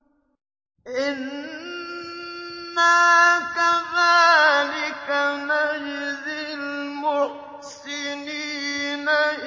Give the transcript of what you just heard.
إِنَّا كَذَٰلِكَ نَجْزِي الْمُحْسِنِينَ